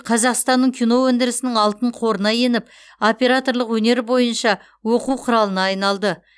қазақстанның кино өндірісінің алтын қорына еніп операторлық өнер бойынша оқу құралына айналды